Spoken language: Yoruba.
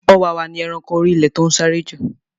Ọ̀wàwà ni eranko orí ilẹ̀ to n sáré ju